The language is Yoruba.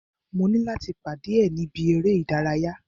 Mo ní láti pàdé ẹ̀ ni ibi eré ìdárayá.